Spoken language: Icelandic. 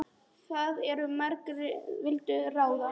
Of margir vildu ráða.